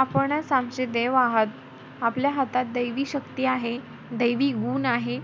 आपणचं आमचे देव आहेत. आपल्या हातात दैवी शक्ती आहे दैवी गुण आहे.